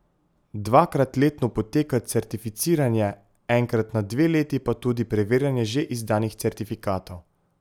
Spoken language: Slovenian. Dvakrat letno poteka certificiranje, enkrat na dve leti pa tudi preverjanje že izdanih certifikatov.